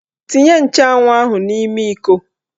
Tinye nchụanwụ ahụ n'ime iko